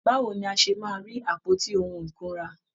Báwo ni a ṣe máa rí àpótí ohun ìkunra?